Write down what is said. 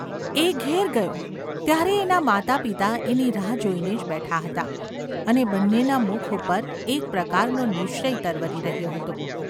એ ઘેર ગયો ત્યારે એનાં માતાપિતા એની રાહ જોઈને જ ​ બેઠાં હતાં અને બન્નેનાં મુખ ઉપર એક પ્રકારનો નિશ્ચય તરવરી રહ્યો હતો.